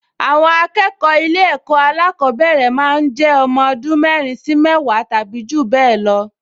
Àwọn akẹ́kọ̀ọ ilé ẹ̀kọ́ alákọ̀ọ́bẹ̀rẹ̀ máa ń jẹ́ ọmọ ọdún mẹ́rin sí mẹ́wàá tàbí jù bẹ́ẹ̀ lọ